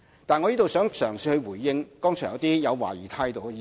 但是，我想在這裏嘗試回應剛才一些抱有懷疑態度的議員。